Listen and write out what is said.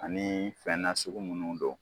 Ani fɛn nasugu munnu don